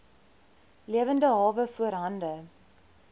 lewende hawe voorhande